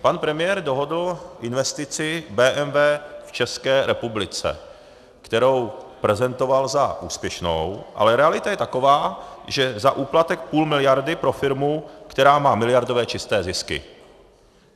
Pan premiér dohodl investici BMW v České republice, kterou prezentoval za úspěšnou, ale realita je taková, že za úplatek půl miliardy pro firmu, která má miliardové čisté zisky.